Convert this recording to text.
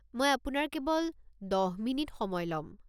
মই আপোনাৰ কেৱল ১০ মিনিট সময় ল'ম।